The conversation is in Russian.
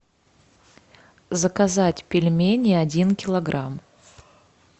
заказать пельмени один килограмм